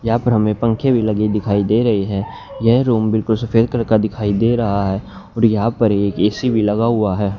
यहां पर हमें पंखे भी लगे दिखाई दे रहे है यह रूम बिल्कुल सफेद कलर का दिखाई दे रहा है और यहां पर एक ए_सी भी लगा हुआ है।